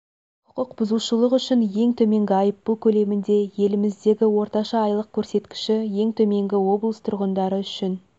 құқық бұзушылық үшін ең төменгі айыппұл көлемінде еліміздегі орташа айлық көрсеткіші ең төменгі облыс тұрғындары үшін